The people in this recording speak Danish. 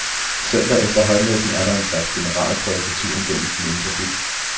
Søndag efter højmessen er der en slags generalprøve på turen gennem den indre by.